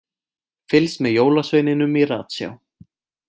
Fylgst með jólasveininum í ratsjá